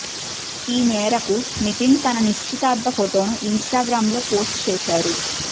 ఈ మేరకు నితిన్ తన నిశ్చితార్థ ఫొటోను ఇన్స్టాగ్రామ్లో పోస్ట్ చేశారు